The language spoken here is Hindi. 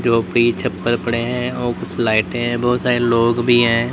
झोपड़ी छप्पर पड़े हैं और कुछ लाइटे हैं बहोत सारे लोग भी हैं।